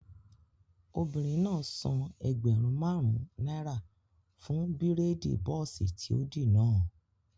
Obìnrin náà san ẹgbẹ̀rún máàrún náírà fún bírèèdì bọ́ọ̀sì tí ó dì náà